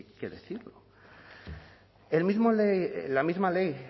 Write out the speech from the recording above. que decir la misma ley